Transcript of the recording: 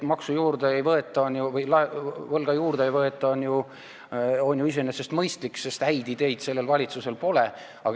See, et võlga juurde ei võeta, on ju iseenesest mõistlik, sest häid ideid sellel valitsusel pole.